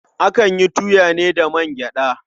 Akan yi tuya ne da man gyaɗa.